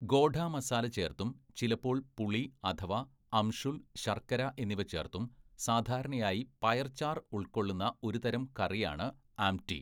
ഗോഡ മസാല ചേർത്തും ചിലപ്പോൾ പുളി അഥവാ അംഷുൽ, ശർക്കര എന്നിവ ചേർത്തും സാധാരണയായി പയർ ചാർ ഉൾക്കൊള്ളുന്ന ഒരുതരം കറിയാണ് ആംടി.